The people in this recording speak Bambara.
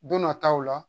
Don nataw la